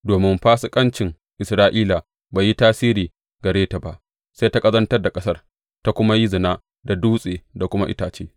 Domin fasikancin Isra’ila bai yi tasiri gare ta ba, sai ta ƙazantar da ƙasar ta kuma yi zina da dutse da kuma itace.